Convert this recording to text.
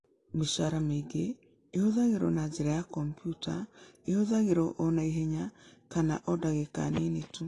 Mĩcaara mĩingĩ ĩhũthagĩrũo na njĩra ya kompiuta ĩhũthagĩrũo o na ihenya kana o ndagĩka nini tu.